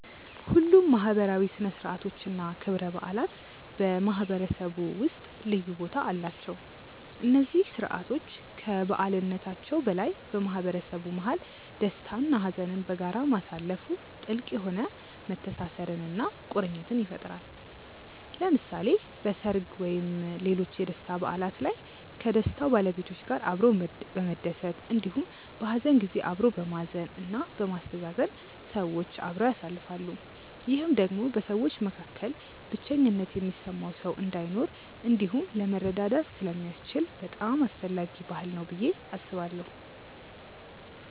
ሁሉም ማህበራዊ ሥነ ሥርዓቶች እና ክብረ በዓላት በማህበረሰቡ ውስጥ ልዩ ቦታ አላቸው። እነዚህ ስርዓቶች ከበዓልነታቸው በላይ በማህበረሰቡ መሀል ደስታ እና ሀዘንን በጋራ ማሳለፋ ጥልቅ የሆነ መተሳሰርን እና ቁርኝትን ይፈጥራል። ለምሳሌ በሰርግ ወይም ሌሎች የደስታ በዓላት ላይ ከደስታው ባለቤቶች ጋር አብሮ በመደሰት እንዲሁም በሀዘን ጊዜ አብሮ በማዘን እና በማስተዛዘን ሰዎች አብረው ያሳልፋሉ። ይህም ደግሞ በሰዎች መካከል ብቸኝነት የሚሰማው ሰው እንዳይኖር እንዲሁም ለመረዳዳት ስለሚያስችል በጣም አስፈላጊ ባህል ነው ብዬ አስባለሁ።